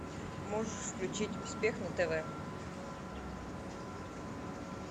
можешь включить успех на тв